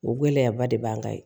O gɛlɛyaba de b'an kan yen